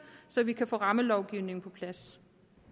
så vi kan få rammelovgivningen på plads